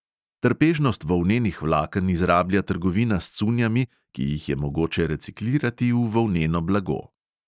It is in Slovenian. Trpežnost volnenih vlaken izrablja trgovina s cunjami, ki jih je mogoče reciklirati v volneno blago.